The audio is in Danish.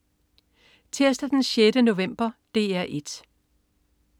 Tirsdag den 6. november - DR 1: